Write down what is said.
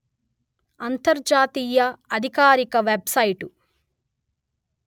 అంతర్జాతీయ అధికారిక web site